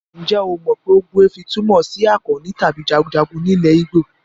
Ǹjẹ́ o mọ pé ogbuefi túmọ̀ sí akọni tàbí jagunjagun ní ilẹ̀ Igbo?